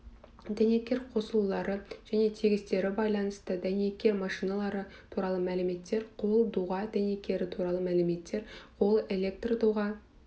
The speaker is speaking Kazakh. дәнекер қосылулары және тігістері байланысты дәнекер машиналары туралы мәліметтер қол доға дәнекері туралы мәліметтер қол электрдоға